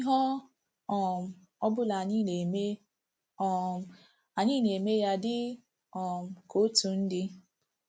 Ihe ọ um ọbụla anyị na-eme, um anyị na-eme ya dị um ka otu ndị.